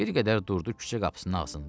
Bir qədər durdu küçə qapısının ağzında.